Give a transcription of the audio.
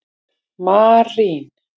Marín